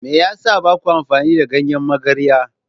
Me yasa baku amfani da ganyen magarya?